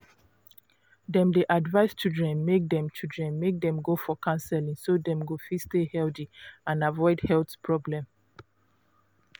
dem dey advise children make dem children make dem go for counseling so dem go fit stay healthy and avoid health problem